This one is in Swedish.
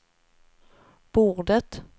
bordet